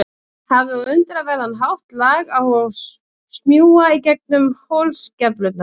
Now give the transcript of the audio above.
Hafði á undraverðan hátt lag á að smjúga í gegnum holskeflurnar.